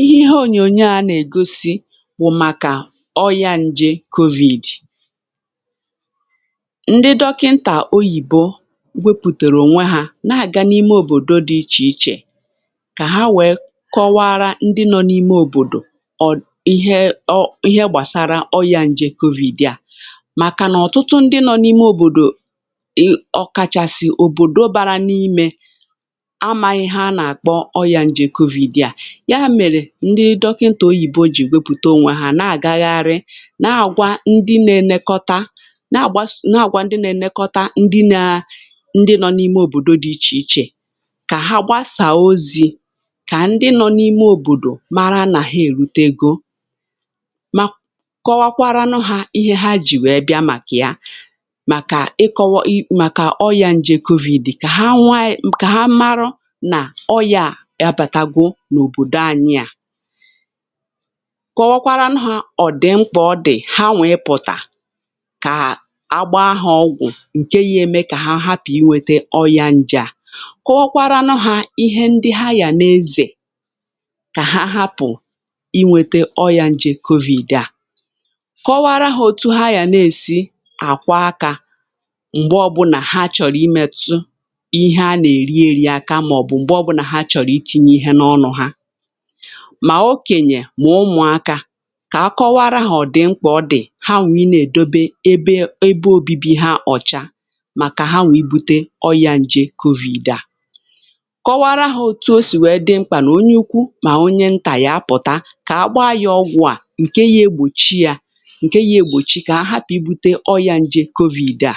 ihe ònyònyo à nà-ègosi bụ̀ màkà ọrịa ǹjė COVID. ndị dọkịntà oyibo wepùtèrè ònwe ha na-àga n’ime òbòdo dị ichè ichè kà ha wèe kọwara ndị nọ n’ime òbòdò ihe o gbàsara ọrịa ǹjė COVID a, màkànà ọ̀tụtụ ndị nọ n’ime òbòdò ọkàchàsị̀ òbòdo bara n’imė amaghị ha nà-àkpọ ọrịa ǹjė COVID a. ya mèrè ndị dọkịntà oyibo jì wepùte onwe ha na-àgagharị na àgwa ndị nà-ènekọta, um kà ha gbasà ozi kà ndị nọ̇ n’ime òbòdò mara nà ha èlute ego, kọwakwaranụ hȧ ihe ha jì wee bịa màkà ya. màkà ị kọwa i màkà ọrịa ǹjė COVID kà ha nwà ayi ọya à yà bàtagwo n’òbòdò ànyị, à kọwakwaranụ hȧ ọ̀ dị̀ mkpà, ọ dị̀ ha nwèe pụ̀tà kà agba ha ọgwụ̀ ǹke ya eme kà ha hapụ̀ inwėte ọya njà, kọwakwaranụ hȧ ihe ndị ha yà na-ezè kà ha hapụ̀ inwėte ọya njè COVID à. kọwara ha otu ha yà na-èsi àkwa akȧ m̀gbè ọbụ̀là ha chọ̀rọ̀ imètù ihe a nà-èri, akamà mà ọ̀ bụ̀ m̀gbe ọbụnà ha chọ̀rọ̀ itinye ihe n’ọnụ̇ ha, mà okènyè mà ụmụ̀akȧ kà a kọwaa rahà. ọ̀ dị̀ mkpà, ọ dị̀ ha nwà i nà-èdobe ebe obibi ha ọ̀cha màkà ha nwà ibu̇te ọ yȧ ǹjè COVID a. kọwaara hȧ otu o sì wee dị mkpà nà onye ukwu mà onye ntà ya pụ̀tà kà àkpọ ayà ọgwụ̇ à, ǹkè ihe egbòchi yȧ, ǹkè ihe egbòchi kà ọ̀ hapụ̀ ibu̇te ọ yȧ ǹjè COVID a.